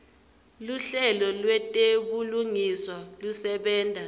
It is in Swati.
luhlelo lwetebulungiswa lusebenta